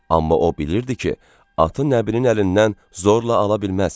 Amma o bilirdi ki, atı Nəbinin əlindən zorla ala bilməz.